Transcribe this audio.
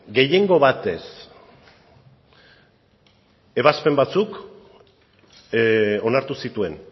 gehiengo batez ebazpen batzuk onartu zituen